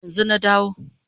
Yanzu na dawo